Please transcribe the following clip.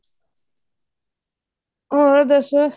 ਹੋਰ ਦੱਸੋ